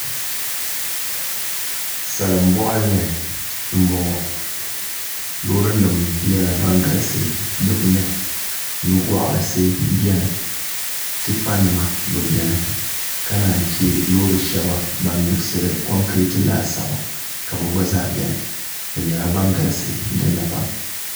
salin boɣali ni n boŋo loori nim nyɛla din galisi di puuni nugoɣarisi biɛni tipa nima bi biɛni ka naan chɛ loori shaba ban miksiri konkirɛt laasabu ka bi gba biɛni bi nyɛla ban galisi dinni pam